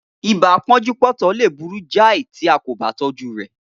Ibà pọ́njú-pọ́ntọ̀ lè burú jai tí a kò ba tọjú rè